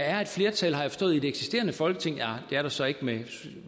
er et flertal har jeg forstået i det eksisterende folketing nej det er der så ikke